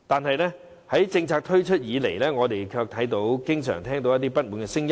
可是，自政策推出以來，我們卻經常聽到不滿的聲音。